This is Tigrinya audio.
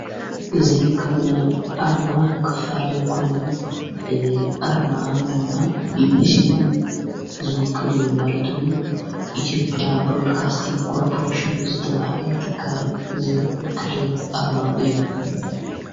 እዝ ከብናይ ኣርማ ክፋል ኮይኑ እዝ ኣርማ ድማ ኢብሢ ዝውክል ማለትዉን ኢቲዮጴያ ብሮድካስቲን ቆርጵሬሴን ዝተብሃለ ትካል ዝውክል ኣርማ እዩ።